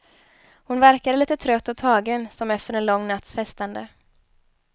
Hon verkade lite trött och tagen, som efter en lång natts festande.